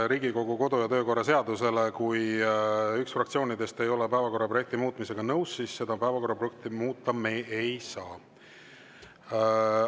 Riigikogu kodu- ja töökorra seaduse järgi on nii, et kui üks fraktsioonidest ei ole päevakorra projekti muutmisega nõus, siis me päevakorraprojekti muuta ei saa.